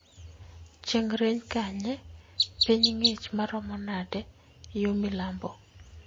chieng' rieny kanye? piny ng'ich maromo nade yo milambo